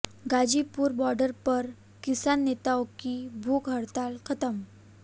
Ghazipur border पर किसान नेताओं की भूख हड़ताल खत्म